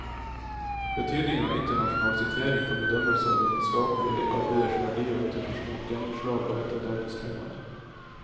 Betydningen av internasjonal sitering for bedømmelse av vitenskapelige arbeiders verdi og internasjonalt gjennomslag er et av dagens temaer.